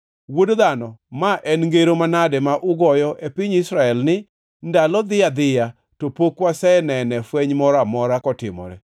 “Wuod dhano, ma en ngero manade ma ugoyo e piny Israel ni, ‘Ndalo dhi adhiya, to pok wasenene fweny moro amora kotimore?’